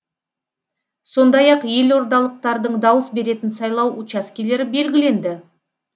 сондай ақ елордалықтардың дауыс беретін сайлау учаскелері белгіленді